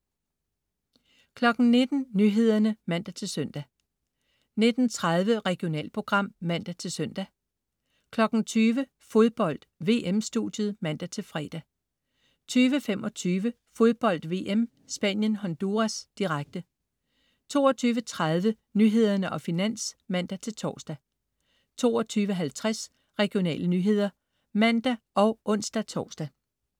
19.00 Nyhederne (man-søn) 19.30 Regionalprogram (man-søn) 20.00 Fodbold: VM-studiet (man-fre) 20.25 Fodbold VM: Spanien-Honduras, direkte 22.30 Nyhederne og Finans (man-tors) 22.50 Regionale nyheder (man og ons-tors)